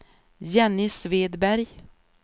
Jenny Svedberg